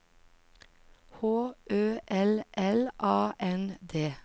H Ø L L A N D